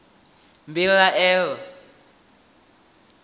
mbilahelo